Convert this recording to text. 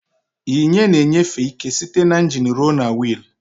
Yinye na enyefe ike site na ingin ruo na wiil.